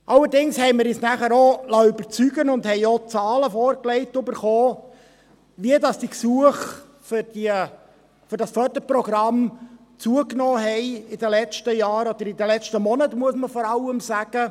Allerdings haben wir uns dann überzeugen lassen und haben auch Zahlen dazu vorgelegt bekommen, die zeigen, wie die Gesuche für dieses Förderprogramm in den letzten Jahren, oder vor allem in den letzten Monaten, zugenommen haben.